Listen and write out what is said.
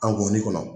An gɔni kɔnɔ